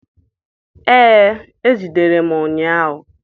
Ee, e jidere m ụnyahụ